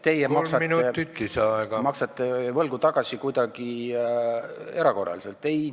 Aga ärge siis väitke, et teie maksate võlgu tagasi kuidagi erakorraliselt!